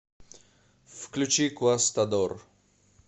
включи куастадор